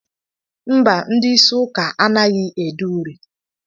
Mba, ndị isi ụka anaghị ede uri